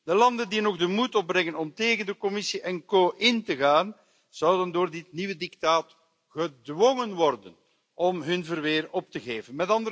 De landen die nog de moed opbrengen om tegen de Commissie en co in te gaan, zouden door dit nieuwe dictaat gedwongen worden om hun verweer op te geven.